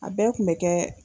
A bɛɛ kun mɛ kɛ